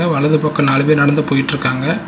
வலது பக்கோ நாலு பேர் நடந்து போயிட்ருக்காங்க.